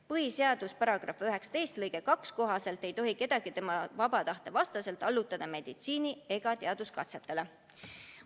Põhiseaduse § 19 lõike 2 kohaselt ei tohi kedagi tema vaba tahte vastaselt allutada meditsiini- ega teaduskatsetele.